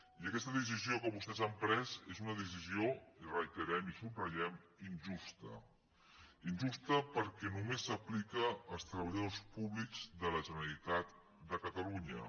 i aquesta decisió que vostès han pres és una decisió ho reiterem i subratllem injusta injusta perquè només s’aplica als treballadors públics de la generalitat de catalunya